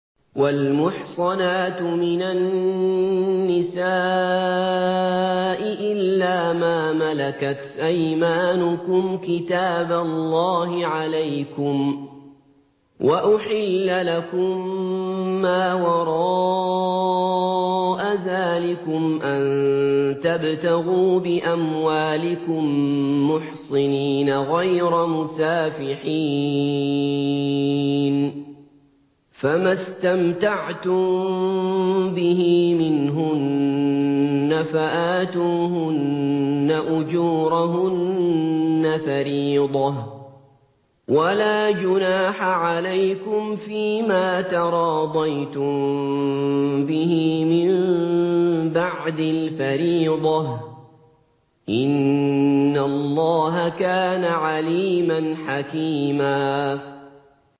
۞ وَالْمُحْصَنَاتُ مِنَ النِّسَاءِ إِلَّا مَا مَلَكَتْ أَيْمَانُكُمْ ۖ كِتَابَ اللَّهِ عَلَيْكُمْ ۚ وَأُحِلَّ لَكُم مَّا وَرَاءَ ذَٰلِكُمْ أَن تَبْتَغُوا بِأَمْوَالِكُم مُّحْصِنِينَ غَيْرَ مُسَافِحِينَ ۚ فَمَا اسْتَمْتَعْتُم بِهِ مِنْهُنَّ فَآتُوهُنَّ أُجُورَهُنَّ فَرِيضَةً ۚ وَلَا جُنَاحَ عَلَيْكُمْ فِيمَا تَرَاضَيْتُم بِهِ مِن بَعْدِ الْفَرِيضَةِ ۚ إِنَّ اللَّهَ كَانَ عَلِيمًا حَكِيمًا